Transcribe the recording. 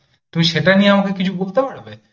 তুমি সেটা নিয়ে আমাকে কিছু বলতে পারবে?